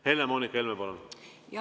Helle‑Moonika Helme, palun!